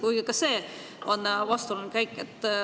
Kuigi ka see oleks olnud vastuoluline käik.